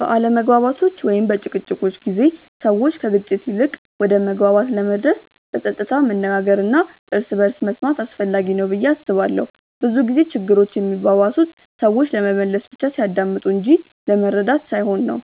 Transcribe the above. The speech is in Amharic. በአለመግባባቶች ወይም በጭቅጭቆች ጊዜ ሰዎች ከግጭት ይልቅ ወደ መግባባት ለመድረስ በጸጥታ መነጋገር እና እርስ በርስ መስማት አስፈላጊ ነው ብዬ አስባለሁ። ብዙ ጊዜ ችግሮች የሚባባሱት ሰዎች ለመመለስ ብቻ ሲያዳምጡ እንጂ ለመረዳት ሳይሆን ነው።